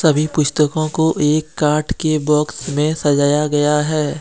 सभी पुस्तकों को एक काठ के बॉक्स में सजाया गया है।